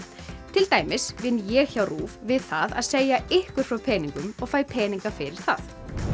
til dæmis vinn ég hjá RÚV við það að segja ykkur frá peningum og fæ peninga fyrir það